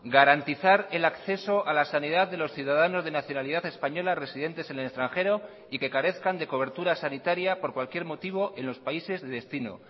garantizar el acceso a la sanidad de los ciudadanos de nacionalidad española residentes en el extranjero y que carezcan de cobertura sanitaria por cualquier motivo en los países de destino